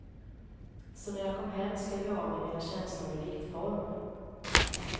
Så när jag kom hem skrev jag av mig mina känslor i diktform.